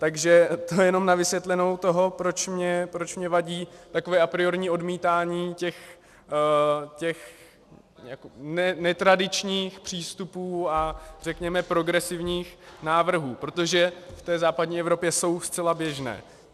Takže to jenom na vysvětlenou toho, proč mi vadí takové apriorní odmítání těch netradičních přístupů a řekněme progresivních návrhů, protože v té západní Evropě jsou zcela běžné.